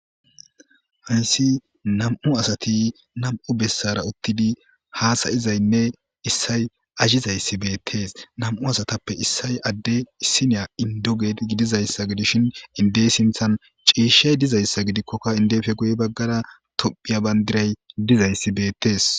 Hansi nam'u asati nam’u bessara uttidi haasayizaynne issay azhizayssi beettees nam'u asatappe issay adde issiniya indoged gidizayssa gidishin indey sinthan ciishshay dizayssa gidikkokka indefe guye baggara tophiya bandiray dizayssi beettees.